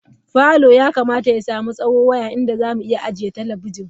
Parlour yakamata ya sami tsawo waya inda zamu iya toshe talabijin.